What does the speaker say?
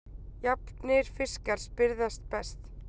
Jafnir fiskar spyrðast best.